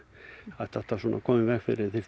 þetta átti að koma í veg fyrir